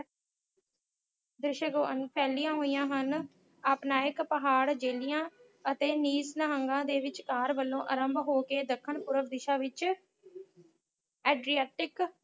ਦਿਸ਼ਕ ਵਾਂਗ ਫੈਲੀਆਂ ਹੋਈਆਂ ਹਨ ਅਪ੍ਨਾਇਕ ਪਹਾੜ ਜਿਹੜੀਆਂ ਅਤੇ ਨਿਤ ਨਿਹੰਗਾਂ ਦੇ ਵਿਚਕਾਰ ਵਲੋਂ ਆਰੰਭ ਹੋ ਕੇ ਦੱਖਣ ਪੂਰਵ ਦਿਸ਼ਾ ਵਿਚ Adriactic